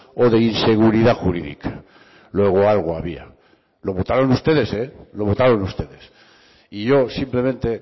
o de inseguridad jurídica luego algo había lo votaron ustedes lo votaron ustedes y yo simplemente